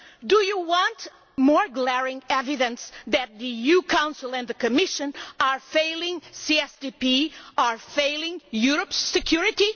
Do you want more glaring evidence that the EU Council and the Commission are failing the CSDP, are failing Europe's security?